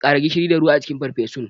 Kara gishiri da ruwa a cikin farfesun.